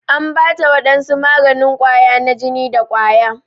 An Bata wadansu maganin Kawa na jini da kwaya.